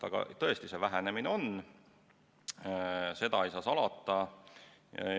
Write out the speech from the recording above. Aga tõesti, vähenemine on, seda ei saa salata.